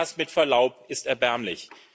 Und das, mit Verlaub, ist erbärmlich!